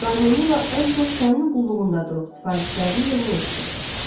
Qarmonu ilə ən çox sənin qulluğunda durub sifarişlərini yerinə yetirirdi.